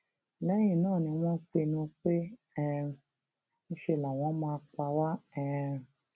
lẹyìn náà ni wọn pinnu pé um ńṣe làwọn máa pa wá um